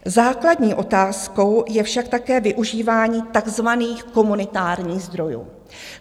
Základní otázkou je však také využívání takzvaných komunitárních zdrojů.